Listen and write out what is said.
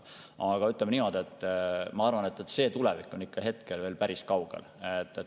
Aga ütleme niimoodi, et see tulevik on hetkel veel päris kaugel.